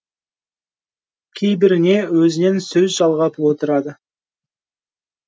кейбіріне өзінен сөз жалғап отырады